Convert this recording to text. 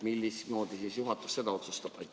Mismoodi juhatus seda otsustab?